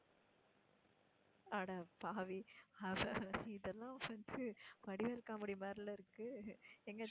அடப்பாவி இதெல்லாம் friends உ வடிவேலு comedy மாதிரி இல்ல இருக்கு எங்க